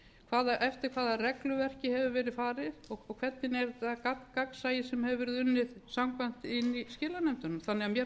að kalla eftir eftir hvaða regluverki hefur verið farið og hvernig er það gagnsæi sem hefur verið unnið samkvæmt inni í skilanefndunum mér